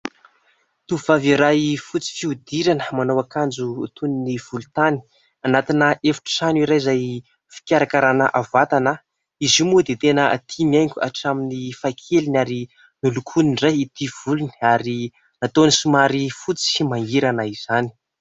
Tovovavy iray fotsy fihodirana manao akanjo toy ny volontany, anatina efitrano iray izay fikarakarana vatana. Izy io moa dia tena tia mihaingo hatramin'ny fahakeliny ary nolokoiny indray ity volony ary nataony somary fotsy sy mangirana izany.